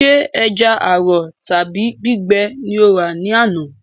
Sé ẹja àrọ̀ tàbí gbígbẹ ni o rà ní àná?